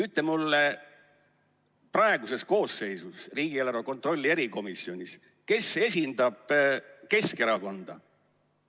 Ütle mulle, kes praeguses koosseisus riigieelarve kontrolli erikomisjonis esindab Keskerakonda.